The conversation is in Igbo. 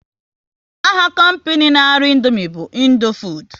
Aha kompinu n' arụ Indomie bu Indofood